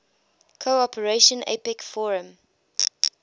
cooperation apec forum